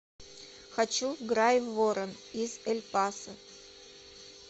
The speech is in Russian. хочу в грайворон из эль пасо